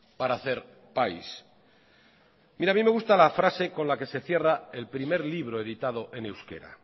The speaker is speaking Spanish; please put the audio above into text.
para hacer país mira a mí me gusta la frase con la que se cierra el primer libro editado en euskera